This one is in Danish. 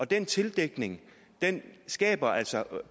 den tildækning skaber altså